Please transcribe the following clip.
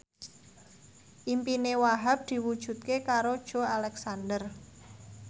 impine Wahhab diwujudke karo Joey Alexander